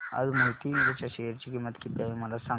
आज मोहिते इंड च्या शेअर ची किंमत किती आहे मला सांगा